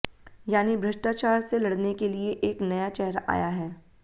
यानी भ्रष्टाचार से लड़ने के लिए एक नया चेहरा आया है